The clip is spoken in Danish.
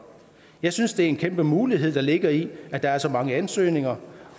jeg synes det er en kæmpe mulighed der ligger i det at der er så mange ansøgninger